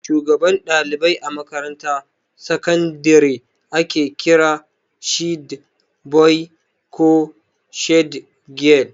Shugaban ɗalibai a makarantar sakandire ake kira shed boi ko shed gyal